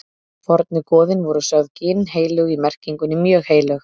Fornu goðin voru sögð ginnheilög í merkingunni mjög heilög.